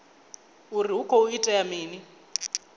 uri hu khou itea mini